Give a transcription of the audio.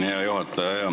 Hea juhataja!